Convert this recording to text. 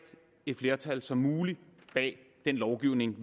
et flertal som muligt bag den lovgivning